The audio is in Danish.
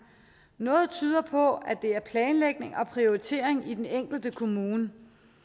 noget tyder på at det er planlægning og prioritering i den enkelte kommune